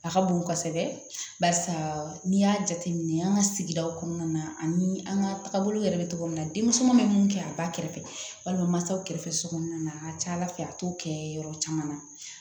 A ka bon kosɛbɛ barisa n'i y'a jateminɛ an ka sigidaw kɔnɔna na ani an ka tagabolo yɛrɛ bɛ cogo min na denmisɛnninw bɛ mun kɛ a b'a kɛrɛfɛ walima masaw kɛrɛfɛ sokɔnɔna na a ka ca ala fɛ a t'o kɛ yɔrɔ caman na